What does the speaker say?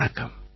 வணக்கம்